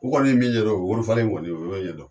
U kɔni ye min ɲɛdɔn weri falen kɔni u y'o ɲɛdɔn